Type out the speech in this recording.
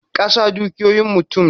Kasa dukiyoyin mutum ne.